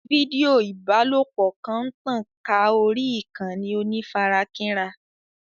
Fídíò ìbálòpọ̀ kan ń tàn ká orí ìkànnì onífarakínra.